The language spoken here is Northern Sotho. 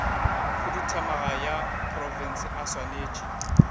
khuduthamaga ya profense a swanetše